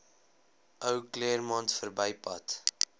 ou claremont verbypad